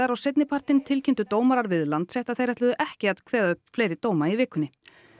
og seinnipartinn tilkynntu dómarar við Landsrétt að þeir ætluðu ekki að kveða upp fleiri dóma í vikunni